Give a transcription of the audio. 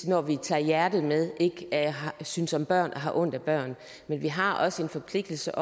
når de tager hjertet med ikke synes om børn har ondt af børn men vi har også en forpligtelse